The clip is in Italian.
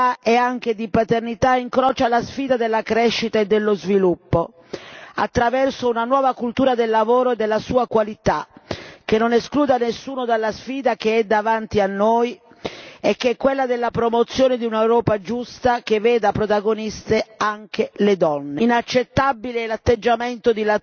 Il tema dei congedi di maternità e anche di paternità incrocia la sfida della crescita e dello sviluppo attraverso una nuova cultura del lavoro e della sua qualità, che non escluda nessuno dalla sfida che è davanti a noi e che è quella della promozione di un'Europa giusta che veda protagoniste anche le donne.